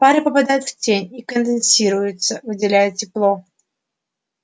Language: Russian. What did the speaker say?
пары попадают в тень и конденсируются выделяя тепло